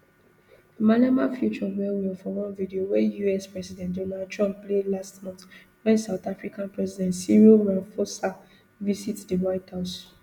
malema feature wellwell for one video wey us president donald trump play last month wen south african president cyril ramaphosa visit di white house